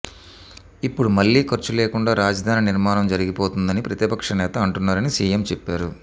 ఇప్పుడు మళ్లీ ఖర్చు లేకుండా రాజధాని నిర్మాణం జరిగిపోతుందని ప్రతిపక్షనేత అంటున్నారని సీఎం చెప్పారు